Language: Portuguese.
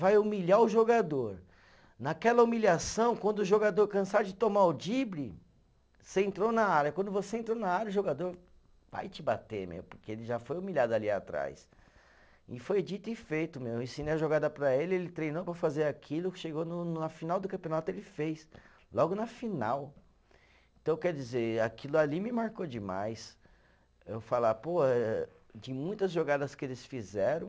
Vai humilhar o jogador, naquela humilhação, quando o jogador cansar de tomar o drible, você entrou na área, quando você entrou na área o jogador vai te bater meu, porque ele já foi humilhado ali atrás e foi dito e feito, meu, eu ensinei a jogada para ele, ele treinou para fazer aquilo, chegou no na final do campeonato ele fez, logo na final então quer dizer aquilo ali me marcou demais eu falar, pô eh de muitas jogadas que eles fizeram